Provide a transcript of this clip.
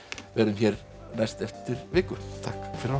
verðum hér næst eftir viku takk fyrir að horfa